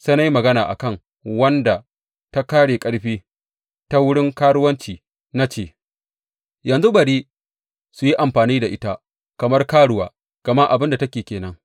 Sai na yi magana a kan wadda ta ƙare ƙarfi ta wurin karuwanci na ce, Yanzu bari su yi amfani da ita kamar karuwa, gama abin da take ke nan.’